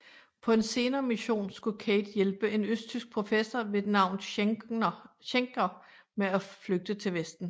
På en senere mission skulle Cate hjælpe en østtysk professor ved navn Schenker med at flygte til vesten